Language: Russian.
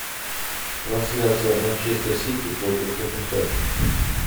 трансляция манчестер сити против тоттенхэм